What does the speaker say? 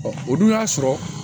o dun y'a sɔrɔ